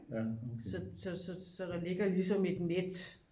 så der ligger jo ligesom et net